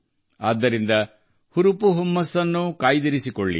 ಆದ್ದರಿಂದ ಆವೇಗವನ್ನು ಮುಂದುವರಿಸಿ